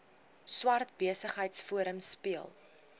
swart besigheidsforum speel